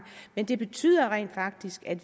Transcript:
men det betyder rent faktisk at